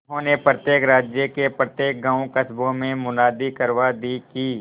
उन्होंने प्रत्येक राज्य के प्रत्येक गांवकस्बों में मुनादी करवा दी कि